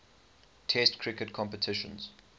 test cricket competitions